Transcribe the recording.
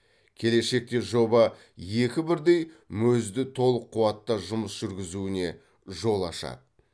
келешекте жоба екі бірдей мөз ді толық қуатта жұмыс жүргізуіне жол ашады